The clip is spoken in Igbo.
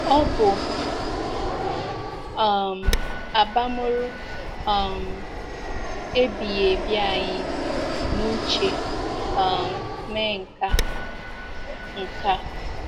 Ọ bu um abamuru um ebighị ebi anyị n’uche um mee nke a. nke a.